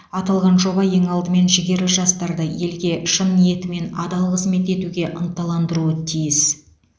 аталған жоба ең алдымен жігерлі жастарды елге шын ниетімен адал қызмет етуге ынталандыруы тиіс